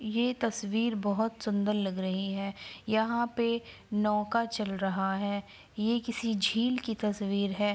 ये तस्वीर बहुत सुन्दर लग रही है यहाँ पे नौका चल रहा है ये किसी झील की तस्वीर है।